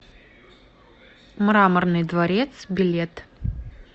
мраморный дворец билет